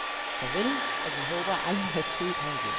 Farvel, og vi håber aldrig at se dig igen.